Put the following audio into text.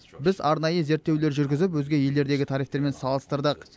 біз арнайы зерттеулер жүргізіп өзге елдердегі тарифтермен салыстырдық